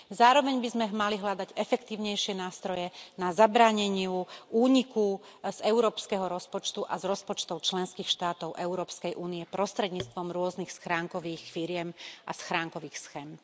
Zároveň by sme mali hľadať efektívnejšie nástroje na zabránenie úniku z európskeho rozpočtu a z rozpočtov členských štátov Európskej únie prostredníctvom rôznych schránkových firiem a schránkových schém.